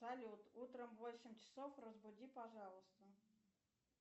салют утром в восемь часов разбуди пожалуйста